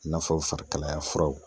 I n'a fɔ farikalaya furaw.